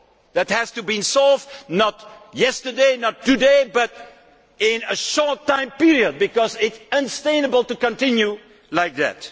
This must be solved not yesterday, not today but in a short time period because it is unsustainable to continue like this.